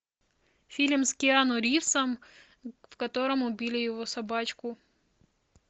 фильм с киану ривзом в котором убили его собачку